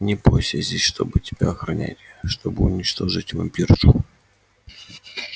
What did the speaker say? не бойся я здесь чтобы тебя охранять чтобы уничтожить вампиршу